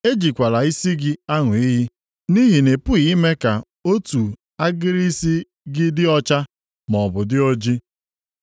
Ejikwala isi gị aṅụ iyi nʼihi na ị pụghị ime ka otu agịrị isi gị dị ọcha maọbụ dị oji.